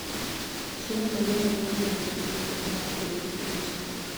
Chiemo malong'o miyo gweno bedo gi teko mar kedo gi tuoche.